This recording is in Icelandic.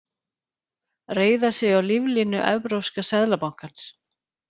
Reiða sig á líflínu Evrópska seðlabankans